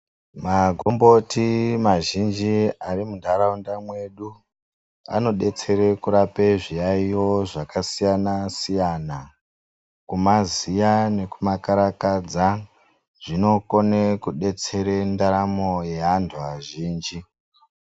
Makomboti mazhinji ari muntaraunda mwedu anodetsere kurape zviyaiyo zvakasiyana -siyana kumaziya nekumakarakadza zvinokona kudetserera ndaramo yaantu azhinji.